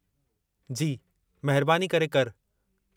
जी, महिरबानी करे करि।